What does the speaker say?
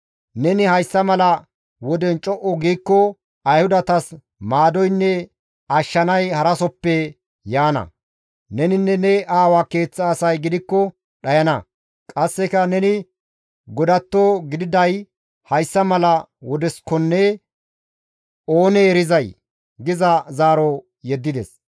Neni hayssa mala woden co7u giikko Ayhudatas maadoynne ashshanay harasoppe yaana. Neninne ne aawa keeththa asay gidikko dhayana; qasseka neni godatto gididay hayssa mala wodessakonne oonee erizay?» giza zaaro yeddides.